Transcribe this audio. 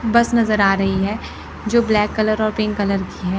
बस नजर आ रही है जो ब्लैक कलर और पिंक कलर की हैं।